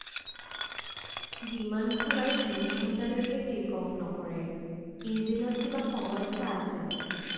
বিমানখন আৰু তিনি ঘণ্টালৈকে টে'ক অফ্ নকৰে। ইঞ্জিনত কিবা সমস্যা আছে।